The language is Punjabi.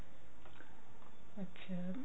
ਅੱਛਿਆ